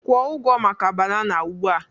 Kwụ ụgwọ maka banana ugbu a!